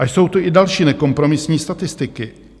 A jsou tu i další nekompromisní statistiky.